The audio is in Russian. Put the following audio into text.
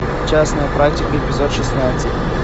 частная практика эпизод шестнадцать